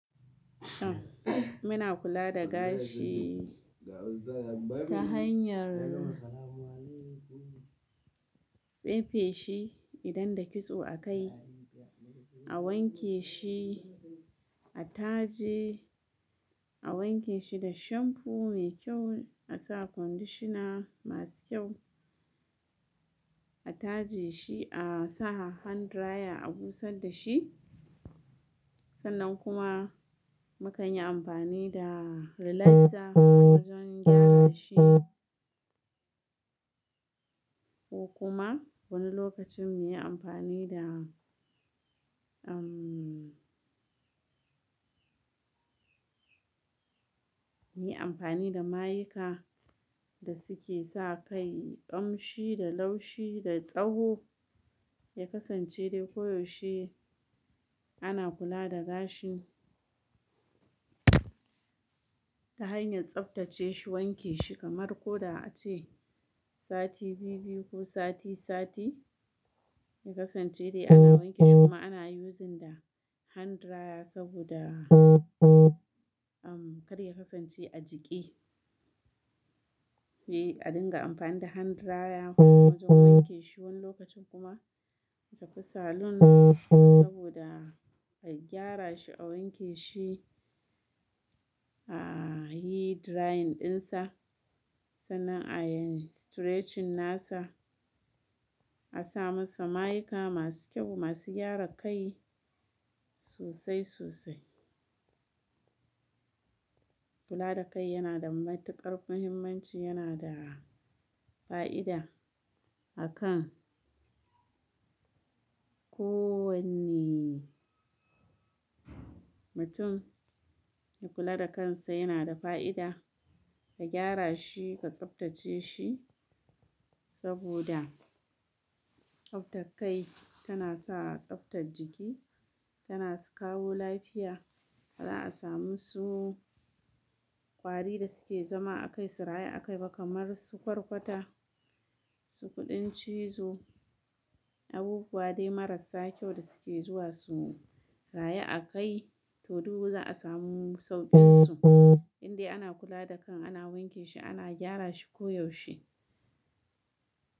Muna kula da gashi ta hanyar tsefe shi idan da kitso a kai, a wanke shi, a taje, a wanke shi da shamfo mai kyau, a sa kondishina masu kyau, a taje shi, a sa hand dryer a busar da shi. Sannan kuma mukanyi amfani da relaxer wajen gyara shi ko kuma wani lokacin muyi amfani da, umm, muyi amfani da mayika da suke sa kai ƙamshi da laushi da tsawo. Ya kasance dai koyaushe ana kula da gashi ta hanyar tsaftace shi, wanke shi kamar ko da ace sati biyu-biyu ko sati-sati. Ya kasance dai ana wanke shi kuma ana using da hand dryer saboda, umm, kar ya kasance a jiƙe sai a dinga amfani da hand dryer wajen wanke shi wani lokacin kuma mutafi saloon saboda a gyara shi, a wanke shi, a yi drying ɗinsa sannan a yi stretching nasa, a sa masa mayika masu kyau masu gyara kai sosai sosai. Kula da kai yana da matuƙar muhimmanci, yana da fa'ida a kan kowanii mutum. Ya kula da kansa yana da fa'ida, ka gyara shi, ka tsaftace shi saboda tsaftar kai tana sa a tsaftar jiki, tana kawo lafiya. Ba za'a samu su ƙwari da suke zama a kai su rayu a kai ba kamar su kwarkwata, su kuɗin cizo, abubuwa dai marasa kyau da suke zuwa su rayu a kai. To du za'a samu sauƙin su, in dai ana kula da kan, ana wanke shi, ana gyara shi koyaushe.